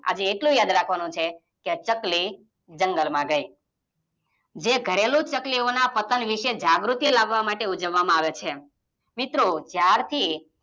આજે એટલું યાદ રાખવાનું છે, કે ચકલી જંગલમાં ગઈ જે ઘરેલુ ચકલી ઓના પતન વિષે જાગૃતિ લાવા માટે ઉજવામાં આવે છે. મિત્રો જ્યારેથી